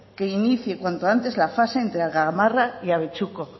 que inicie cuanto antes la fase entre gamarra y abetxuko